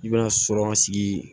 I bɛna sɔrɔ an sigi